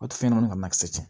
O tɛ fɛn ɲɛnamanin ka na kisɛ cɛ